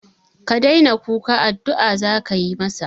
Ka daina kuka, addu'a za ka yi masa